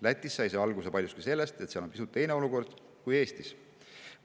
Lätis sai see alguse paljuski sellest, et seal on pisut teine olukord kui Eestis.